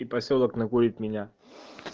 и посёлок находит меня